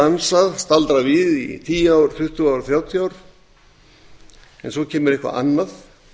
þau geta staldrað við í tíu ár tuttugu ár þrjátíu ár en svo kemur eitthvað annað